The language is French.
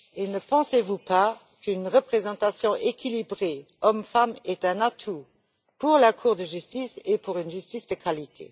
Ne pensez vous pas qu'une représentation équilibrée hommes femmes est un atout pour la Cour de justice et pour une justice de qualité?